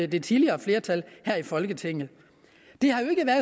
det tidligere flertal her i folketinget